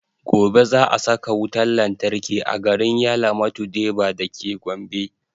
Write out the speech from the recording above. Gobe aka ce za a saka wutan lantarki a garin yalamatu deba dake gombe